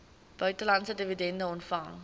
buitelandse dividende ontvang